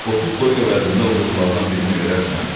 30 toyuq əvəzində o quzulardan birini verərsən?